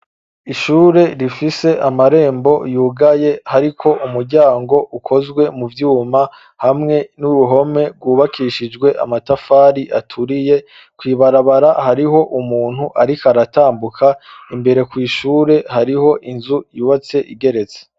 Ishure rifise amarembo yugaye hariko umuryango ukozwe mu vyuma hamwe n'uruhome rwubakishijwe amatafari aturiye kwibarabara hariho umuntu ariko aratambuka, imbere ku ishure hariho inzu yubatse igeretse.